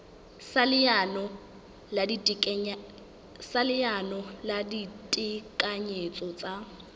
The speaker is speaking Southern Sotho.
sa leano la ditekanyetso tsa